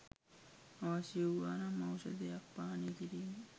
අවශ්‍ය වූවානම් ඖෂධයක් පානය කිරීමෙන්